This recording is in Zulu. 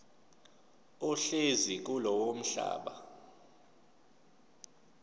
ohlezi kulowo mhlaba